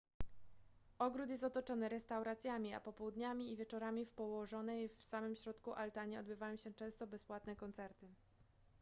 ogród jest otoczony restauracjami a popołudniami i wieczorami w położonej w samym środku altanie odbywają się często bezpłatne koncerty